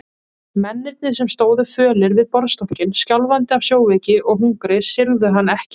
Mennirnir sem stóðu fölir við borðstokkinn, skjálfandi af sjóveiki og hungri, syrgðu hann ekki.